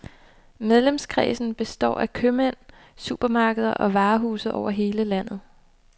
Medlemskredsen består af købmænd, supermarkeder og varehuse over hele landet.